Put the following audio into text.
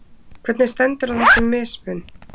Hvernig stendur á þessum mismun?